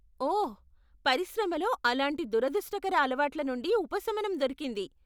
ఓహ్! పరిశ్రమలో అలాంటి దురదృష్టకర అలవాట్లు నుండి ఉపశమనం దొరికింది.